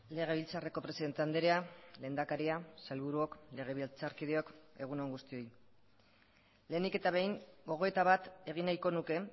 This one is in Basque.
legebiltzarreko presidente andrea lehendakaria sailburuok legebiltzarkideok egun on guztioi lehenik eta behin gogoeta bat egin nahiko nuke